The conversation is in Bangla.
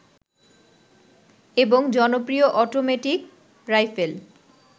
এবং জনপ্রিয় অটোমেটিক রাইফেল